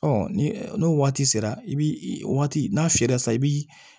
ni n'o waati sera i bi waati n'a fiyɛra sisan i bi